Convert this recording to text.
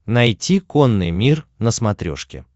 найти конный мир на смотрешке